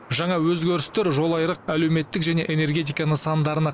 жаңа өзгерістер жолайрық әлеуметтік және энергетика нысандарына